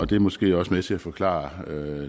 det er måske også med til at forklare